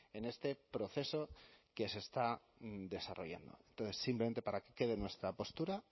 en este proceso que se está desarrollando entonces simplemente para que quede nuestra postura